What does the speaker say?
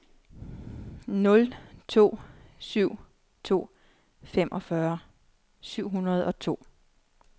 nul to syv to femogfyrre syv hundrede og to